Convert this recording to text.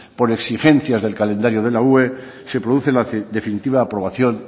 por exigencias del calendario de la ue se produce la definitiva aprobación